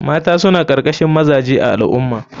Mata suna karkashin mazaje a al ummah.